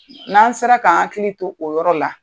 N'an sera k'an hakili to o yɔrɔ la